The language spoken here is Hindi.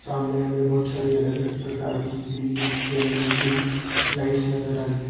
सामने हमे बहुत सारी अलग-अलग प्रकार की ग्रीन येलो ब्लू लाइट्स नजर आ रही है।